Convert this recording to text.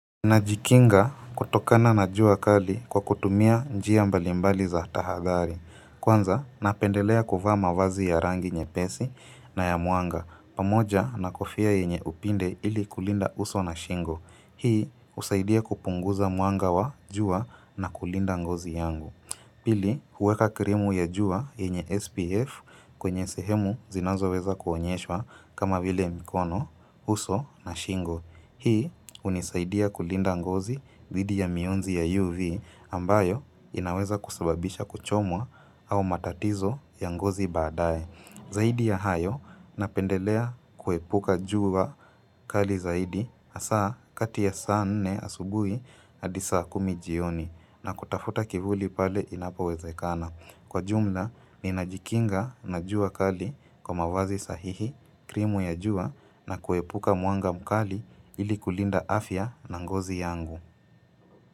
Najikinga kutokana na jua kali kwa kutumia njia mbalimbali za tahadhari. Kwanza, napendelea kuvaa mavazi ya rangi nyepesi na ya mwanga. Pamoja, na kofia yenye upinde ili kulinda uso na shingo. Hii, husaidia kupunguza mwanga wa jua na kulinda ngozi yangu. Pili, huweka krimu ya jua yenye SPF kwenye sehemu zinazoweza kuonyeswa kama vile mikono, uso na shingo. Hii hunisaidia kulinda ngozi dhidi ya mionzi ya UV ambayo inaweza kusababisha kuchomwa au matatizo ya ngozi baadaye. Zaidi ya hayo napendelea kuepuka jua kali zaidi hasa kati ya saa nne asubuhi hadi saa kumi jioni na kutafuta kivuli pale inapowezekana. Kwa jumla, ninajikinga na jua kali kwa mavazi sahihi, krimu ya jua na kuepuka mwanga mkali ili kulinda afya na ngozi yangu.